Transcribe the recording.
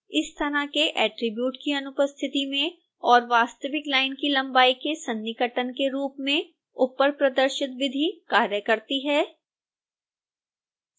इस तरह के attribute की अनुपस्थिति में और वास्तविक लाइन की लंबाई के सन्निकटन के रूप में ऊपर प्रदर्शित विधि कार्य करती है